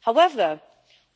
However,